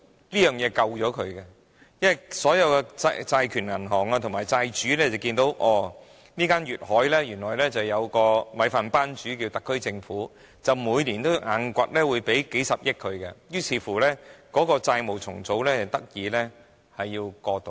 這協議拯救了該公司，因為所有債權銀行和債主看見，原來粵海有特區政府這個"米飯班主"，每年都一定會支付數十億元給它，於是該公司的債務重組得以過渡。